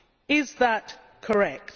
Is that correct?